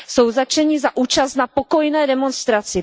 Jsou zatčeni za účast na pokojné demonstraci.